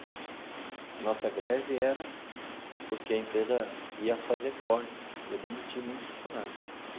A nossa greve era porque a empresa ia fazer cortes, ia demitir muitos funcionários.